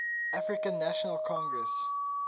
african national congress